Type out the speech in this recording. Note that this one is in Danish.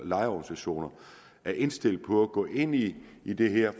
lejerorganisationer er indstillet på at gå ind i i det her